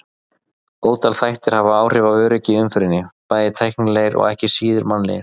Ótal þættir hafa áhrif á öryggi í umferðinni, bæði tæknilegir og ekki síður mannlegir.